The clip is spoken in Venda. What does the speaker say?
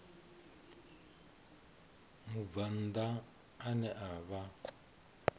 mubvann ḓa ane a vha